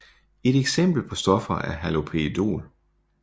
Et eksempel på stoffer er haloperidol